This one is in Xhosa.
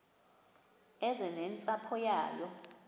eze nentsapho yayo